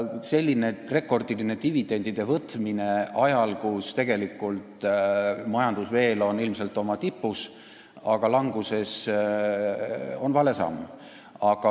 Selline rekordiline dividendide võtmine ajal, kui majandus on ilmselt veel oma tipus, aga hakkab langema, on vale samm.